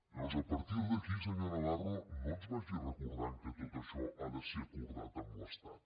llavors a partir d’aquí senyor navarro no ens vagi recordant que tot això ha de ser acordat amb l’estat